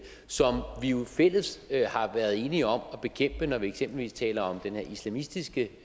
som vi jo i fællesskab har været enige om at bekæmpe når vi eksempelvis taler om den her islamistiske